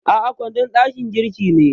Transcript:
A'a, kwandon dakin girki ne.